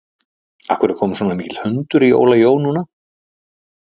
Af hverju er kominn svona mikill hundur í Óla Jó núna?